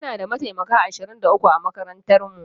Muna da mataimaka ashirin da uku a makarantar mu